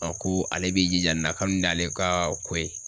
ko ale b'i jija nin na ka bi n'ale ka ko ye